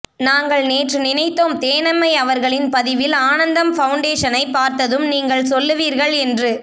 நாங்கள் நேற்று நினைத்தோம் தேனம்மை அவர்களின் பதிவில் ஆனந்தம் ஃபௌண்டேஷனைப் பார்த்ததும் நீங்கள் சொல்லுவீர்கள் என்று